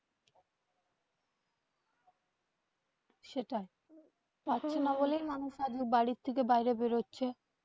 সেটাই পাচ্ছে না বলেই মানুষ আজ বাড়ি থেকে বাইরে বের হচ্ছে.